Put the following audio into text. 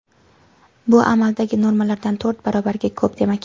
Bu amaldagi normalardan to‘rt barobarga ko‘p demak.